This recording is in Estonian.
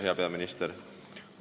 Hea peaminister!